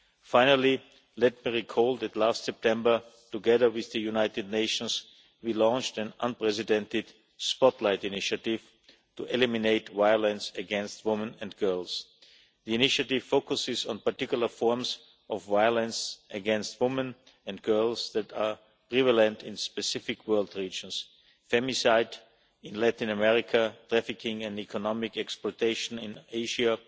Finally, let me recall that last September, together with the United Nations, we launched an unprecedented Spotlight Initiative to eliminate violence against women and girls. The Initiative focuses on particular forms of violence against women and girls that are prevalent in specific world regions femicide in Latin America, trafficking and economic exploitation in